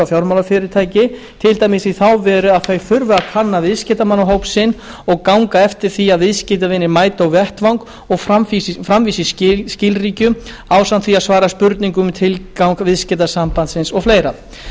fjármálafyrirtæki til dæmis í þá veru að þau þurfi að kanna viðskiptamannahóp sinn og ganga eftir því að viðskiptavinir mæti á vettvang og framvísi skilríkjum ásamt því að svara spurningum um tilgang viðskiptasambands og fleira